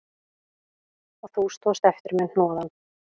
Og þú stóðst eftir með hnoðann